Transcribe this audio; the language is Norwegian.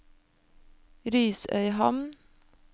Risøyhamn